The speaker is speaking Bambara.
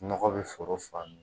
Nɔgɔ bi foro fa